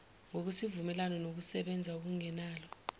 kwesivumelwano ngokokusebenza okungenalo